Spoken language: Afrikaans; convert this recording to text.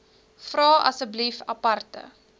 vra asseblief aparte